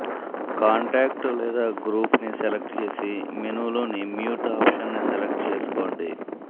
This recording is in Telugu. కాంటాక్ట్ లేదా గ్రూప్ ని సెలెక్ట్ చేసి మెనూ లోని మ్యూట్ ఆప్షన్ ని సెలెక్ట్ చేసుకోండి